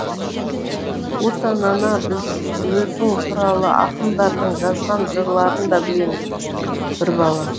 отан ана біз өзің туралы ақындардың жазған жырларын да білеміз бір бала